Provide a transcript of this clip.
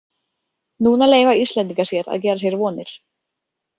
Núna leyfa Íslendingar sér að gera sér vonir.